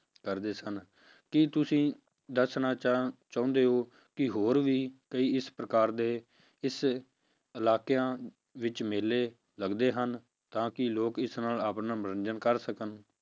ਕਰਦੇ ਸਨ ਕੀ ਤੁਸੀਂ ਦੱਸਣਾ ਚਾ~ ਚਾਹੁੰਦੇ ਹੋ ਕਿ ਹੋਰ ਵੀ ਕਈ ਇਸ ਪ੍ਰਕਾਰ ਦੇ ਇਸ ਇਲਾਕਿਆਂ ਵਿੱਚ ਮੇਲੇ ਲੱਗਦੇ ਹਨ, ਤਾਂ ਕਿ ਲੋਕ ਇਸ ਨਾਲ ਆਪਣਾ ਮਨੋਰੰਜਨ ਕਰ ਸਕਣ